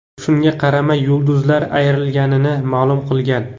Shunga qaramay, yulduzlar ayrilganini ma’lum qilgan.